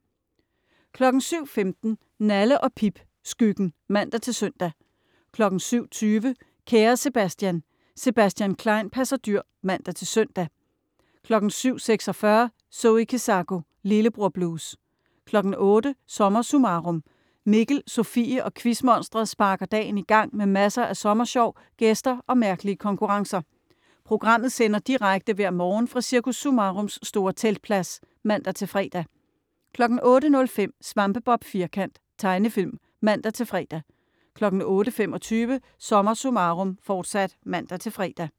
07.15 Nalle & Pip. Skyggen (man-søn) 07.20 Kære Sebastian. Sebastian Klein passer dyr (man-søn) 07.46 Zoe Kezako. Lillebror blues 08.00 SommerSummarum. Mikkel, Sofie og Quizmonsteret sparker dagen i gang med masser af sommersjov, gæster og mærkelige konkurrencer. Programmet sender direkte hver morgen fra Cirkus Summarums store teltplads (man-fre) 08.05 Svampebob Firkant. Tegnefilm (man-fre) 08.25 SommerSummarum, Forsat (man-fre)